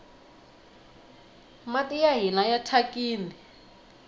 mati ya hina mathyakini